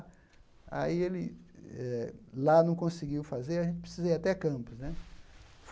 Aí ele eh, lá não conseguiu fazer, a gente precisa ir até Campos, né?